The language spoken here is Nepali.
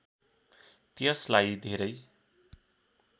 त्यसलाई धेरै